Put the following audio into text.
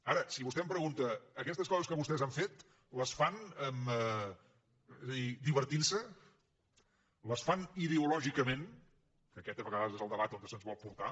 ara si vostè em pregunta aquestes coses que vostès han fet les fan divertint se les fan ideològicament que aquest a vegades és el debat on se’ns vol portar